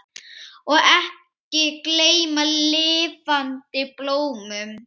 Og ekki gleyma lifandi blómum!